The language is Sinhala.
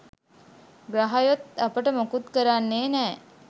ග්‍රහයොත් අපට මොකුත් කරන්නෙ නෑ